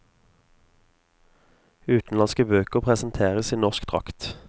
Utenlandske bøker presenteres i norsk drakt.